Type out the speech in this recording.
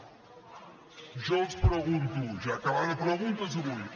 jo els pregunto ja que va de preguntes avui